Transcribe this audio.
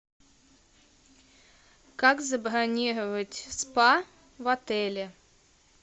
как забронировать спа в отеле